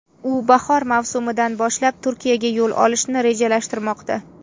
U bahor mavsumidan boshlab Turkiyaga yo‘l olishni rejalashtirmoqda.